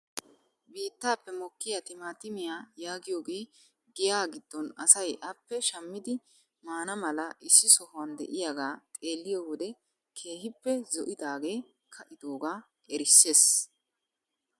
Biittaappe mokkiyaa timaatimiyaa yaagiyoogee giyaa giddon asay appe shammidi maana mala issi sohuwaan de'iyaaga xeelliyo wode keehippe zo'idaagee ka'idoogaa erisses.